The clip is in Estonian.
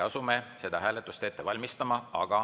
Asume seda hääletust ette valmistama.